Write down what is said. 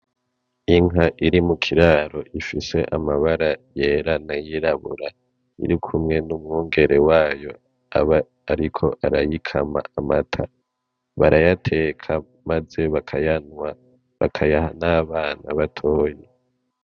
Inka iri mukiraro ifise amabara yera nay'irabura irikumwe n'umwungere wayo aba ariko arayikama amata, barayateka maze bakayanwa bakayaha n'abana batoyi.